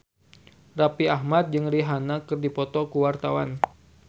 Raffi Ahmad jeung Rihanna keur dipoto ku wartawan